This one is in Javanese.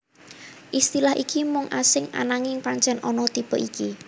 Istilh iki mungkin asing ananging pancèn ana tipe iki